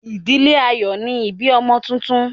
ìdílé a yóò ni ibí ọmọ túntún